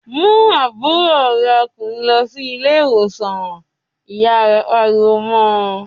"Mú àbúrò rẹ ọkùnrin lọ sí ilé-ìwòsàn!" Ìyá rẹ̀ pariwo mọ́ ọ.